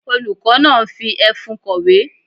Olùkọ́ náà ń fi ẹfun kọ̀wé.